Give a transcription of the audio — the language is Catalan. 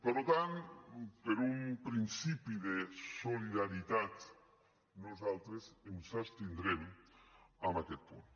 per tant per un principi de solidaritat nosaltres ens abstindrem en aquest punt